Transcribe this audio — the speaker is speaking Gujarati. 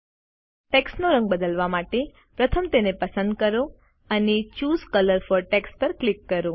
ટેક્સ્ટનો રંગ બદલવા માટે પ્રથમ તેને પસંદ કરો અને ચૂસે કલર ફોર ટેક્સ્ટ પર ક્લિક કરો